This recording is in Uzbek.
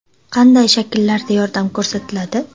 Qanday shakllarda yordam ko‘rsatiladi?